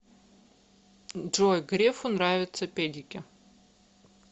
джой грефу нравятся педики